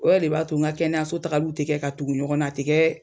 Wali i b'a to n ka kɛnɛya so takaliw ti kɛ ka tugu ɲɔgɔn na. A ti Kɛ